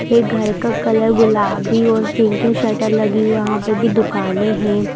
ये घर का कलर गुलाबी और पिंक है शटर लगी वहां पर भी दुकाने है।